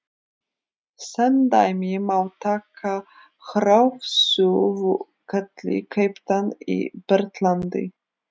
Sem dæmi má taka hraðsuðuketil keyptan í Bretlandi.